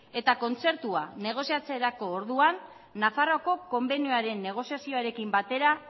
eta kontzertua negoziatzerako orduan nafarroako konbenioaren negoziazioarekin batera